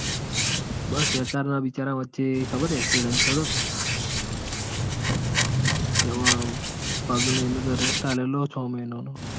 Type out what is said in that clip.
બસ HR ના બિચારા વચ્ચે accident થયો. તો તેઓ હમણાં તો rest આળેલો ચ મહિના નો.